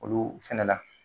Olu fɛnɛ na.